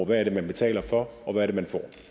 hvad man betaler for og hvad man får